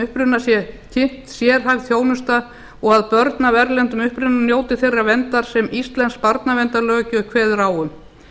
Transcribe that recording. uppruna sé kynnt sérhæfð þjónusta og að börn af erlendum uppruna njóti þeirrar verndar sem íslensk barnaverndarlöggjöf kveður á um